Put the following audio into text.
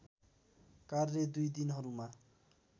कार्य दुई दिनहरूमा